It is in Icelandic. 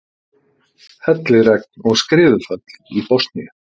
Helliregn og skriðuföll í Bosníu